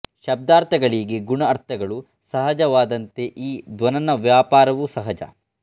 ಶಬ್ದಾರ್ಥಗಳಿಗೆ ಗುಣ ಅರ್ಥಗಳು ಸಹಜವಾದಂತೆ ಈ ಧ್ವನನ ವ್ಯಾಪಾರವೂ ಸಹಜ